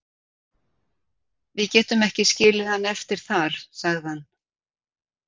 Við getum ekki skilið hann eftir þar, sagði hann.